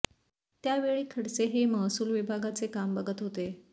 त्यावेळी खडसे हे महसूल विभागाचे काम बघत होते